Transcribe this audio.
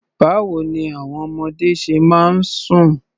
Báwo ní àwọn ọmọdé ṣe máa ń sùn?